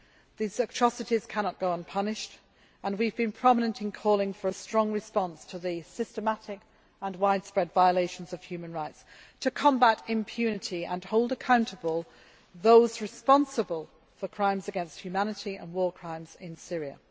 These atrocities cannot go unpunished and we have been prominent in calling for a strong response to the systematic and widespread violations of human rights, to combat impunity and hold accountable those responsible for crimes against humanity and war crimes